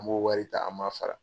An b'o wari ta an b'a fara.